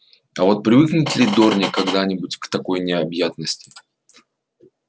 а вот привыкнет ли дорник когда-нибудь к такой необъятности